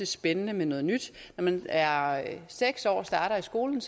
spændende med noget nyt når man er seks år og starter i skolen